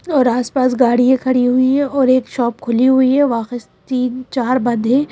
और आसपास गाड़ियां खड़ी हुई हैं और एक शॉप खुली हुई है तीन चार बंद हैं।